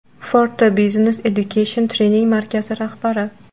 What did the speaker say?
Forta Business Education trening markazi rahbari.